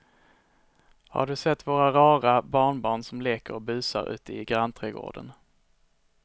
Har du sett våra rara barnbarn som leker och busar ute i grannträdgården!